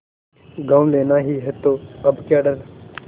गॉँव लेना ही है तो अब क्या डर